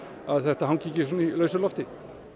að þetta hangi ekki svona í lausu lofti